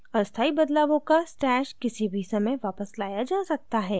अस्थायी बदलावों का stash किसी भी समय वापस लाया जा सकता है